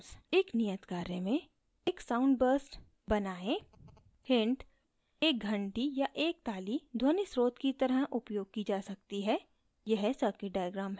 एक नियत कार्य में